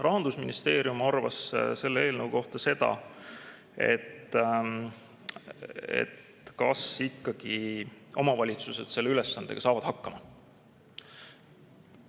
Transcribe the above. Rahandusministeerium arvas selle eelnõu kohta seda, et kas ikkagi omavalitsused selle ülesandega saavad hakkama.